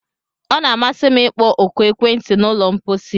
Ọ na-amasị m ịkpọ oku ekwentị na ụlọ mposi